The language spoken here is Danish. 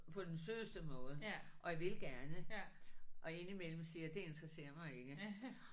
På den sødeste måde og jeg vil gerne og indimellem siger jeg det interesser mig ikke